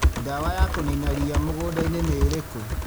Ndawa ya kũ nina ria mũgũnda-inĩ nĩ ĩrĩkũ?